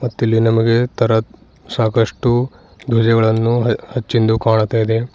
ಮತ್ತೆ ಇಲ್ಲಿ ನಮಗೆ ತರ ಸಾಕಷ್ಟು ಧ್ವಜಗಳನ್ನು ಹಚ್ಚಿಂದು ಕಾಣ್ತಾ ಇದೆ.